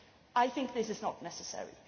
I think this is not necessary.